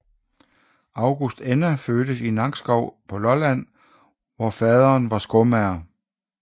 August Enna fødtes i Nakskov på Lolland hvor faderen var skomager